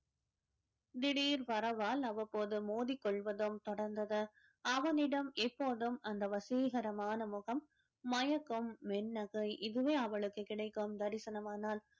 திடீர் வரவால் அவ்வப்போது மோதிக் கொள்வதும் தொடர்ந்தது அவனிடம் எப்போதும் அந்த வசீகரமான முகம் மயக்கும் இதுவே அவளுக்கு கிடைக்கும் தரிசனம் ஆனால்